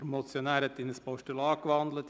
Der Motionär hat in ein Postulat gewandelt.